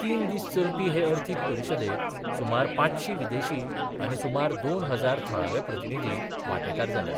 तीन दीस चलपी हे अर्थीक परिशदेक सुमार पांचशी विदेशी आनी सुमार दोन हजार थळावे प्रतिनिधी वांटेकार जाल्यात.